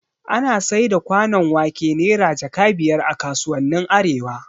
Ana saida kwanon wake Naira jaka biyar a kasuwannin arewa